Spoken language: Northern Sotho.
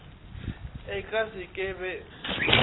e ka se ke be